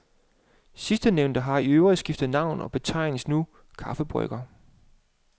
Sidstnævnte har i øvrigt skiftet navn og betegnes nu kaffebryggere.